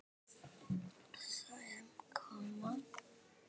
Sem koma.